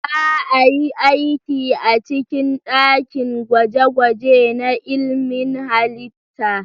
Za a yi aiki a cikin dakin gwaje-gwaje na ilmin halitta.